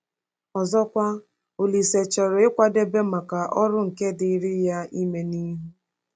Ọzọkwa, Olise chọrọ ịkwadebe maka ọrụ nke dịịrị ya ime n’ihu.